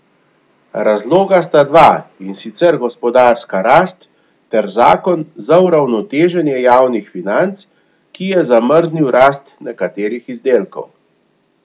Razloga sta dva, in sicer gospodarska rast ter zakon za uravnoteženje javnih financ, ki je zamrznil rast nekaterih izdatkov.